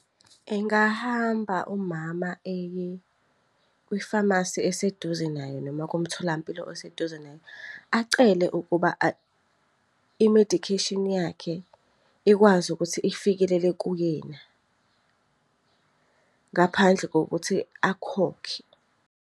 Engahamba umama eye kwifamasi eseduze naye noma kumtholampilo oseduze naye. Acele ukuba imedikheshini yakhe ikwazi ukuthi ifikelele kuyena, ngaphandle kokuthi akhokhe.